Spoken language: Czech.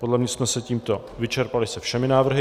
Podle mě jsme se tímto vyrovnali se všemi návrhy.